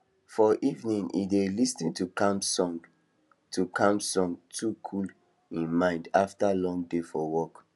for evening he dey lis ten to calm sound to calm sound to cool em mind after long day for work